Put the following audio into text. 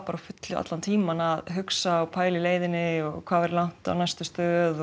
á fullu allan tímann að hugsa og pæla í leiðinni hvað væri langt á næstu stöð